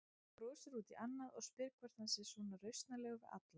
Brosir út í annað og spyr hvort hann sé svona rausnarlegur við alla.